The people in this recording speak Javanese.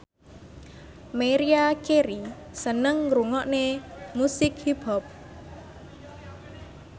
Maria Carey seneng ngrungokne musik hip hop